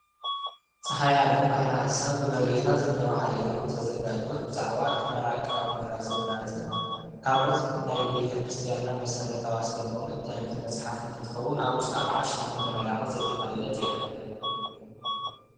ፀሓይ ዓለም ባሕረ ሐሳብ ብ መርጌታ ዘነበ ሓየሎም ዝተዛጋጀወት ብዛዕባ ቀመር ኣቀማምራ ዘመናትን ካልኦት ናይ ቤተክርስትያትና መሰረታዊ ኣስተምህሮን ተምህር መፅሓፍ እንትከውን ኣብ ውሽጣ ክዓ ሸሞንተ ምዕራፋት ዘጠቃለለት እያ::